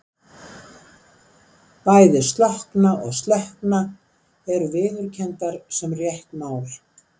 Bæði slokkna og slökkna eru viðurkenndar sem rétt mál.